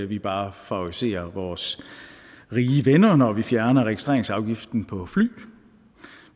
vi bare favoriserer vores rige venner når vi fjerner registreringsafgiften på fly